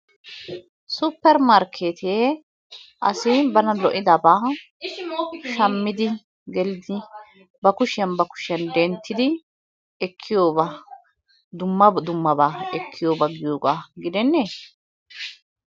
Suppermarkkeetee asi bana lo'idabaa shammidi gelidi ba kushiyan ba kushiyan denttidi ekkiyobaa, dumma dummabaa ekkiyoba giyogaa gidenneeshsha?